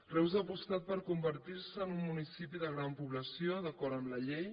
reus va apostar per convertir se en un municipi de gran població d’acord amb la llei